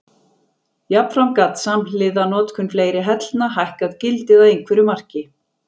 Jafnframt gat samhliða notkun fleiri hellna hækkað gildið að einhverju marki.